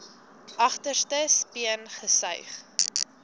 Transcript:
agterste speen gesuig